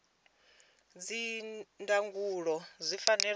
idzi ndangulo zwi fanela u